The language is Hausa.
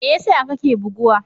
Me yasa kake buguwa?